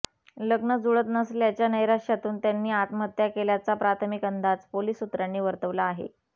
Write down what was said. लग्न जुळत नसल्याच्या नैराश्यातून त्यांनी आत्महत्या केल्याचा प्राथमिक अंदाज पोलीस सूत्रांनी वर्तवला आहे